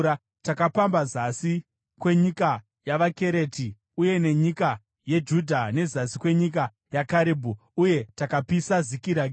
Takapamba Zasi kwenyika yavaKereti uye nenyika yeJudha neZasi kwenyika yaKarebhu. Uye takapisa Zikiragi.”